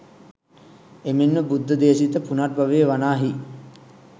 එමෙන්ම බුද්ධ දේශිත පුනර්භවය වනාහි